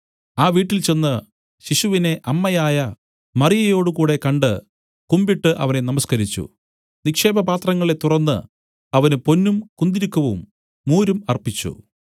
ആ വീട്ടിൽചെന്ന് ശിശുവിനെ അമ്മയായ മറിയയോടുകൂടെ കണ്ട് കുമ്പിട്ട് അവനെ നമസ്കരിച്ചു നിക്ഷേപപാത്രങ്ങളെ തുറന്നു അവന് പൊന്നും കുന്തുരുക്കവും മൂരും അർപ്പിച്ചു